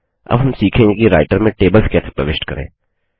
अब हम सीखेंगे कि राइटर में टेबल्स कैसे प्रविष्ट करें